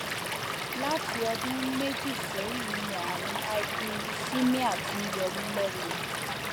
láti ọdún méjì sẹyìn ni ààrùn hyperuricemia ti ń yọ mí lẹnu